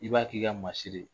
I b'a k'i ka masiri ye!